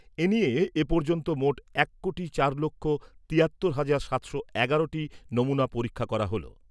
এনিয়ে এপর্যন্ত মোট এক কোটি চার লক্ষ তিয়াত্তর হাজার সাতশো এগারো টি নমুনা পরীক্ষা করা হল ।